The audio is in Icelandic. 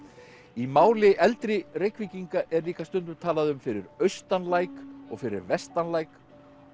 í máli eldri Reykvíkinga er líka stundum talað um fyrir austan læk og fyrir vestan læk